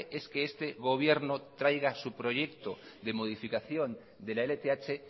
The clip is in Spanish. es que este gobierno traiga su proyecto de modificación de la lth